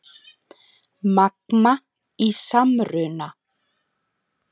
Magma í samruna